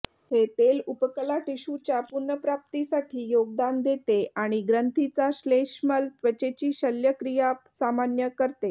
हे तेल उपकला टिशूच्या पुनर्प्राप्तीसाठी योगदान देते आणि ग्रंथीचा श्लेष्मल त्वचेची शल्यक्रिया सामान्य करते